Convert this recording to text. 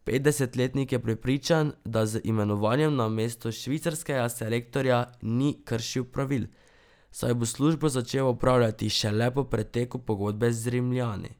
Petdesetletnik je prepričan, da z imenovanjem na mesto švicarskega selektorja ni kršil pravil, saj bo službo začel opravljati šele po preteku pogodbe z Rimljani.